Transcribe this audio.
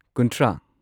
ꯀꯨꯨꯟꯊ꯭ꯔꯥ